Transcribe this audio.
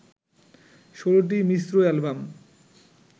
১৬ টি মিশ্র অ্যালবাম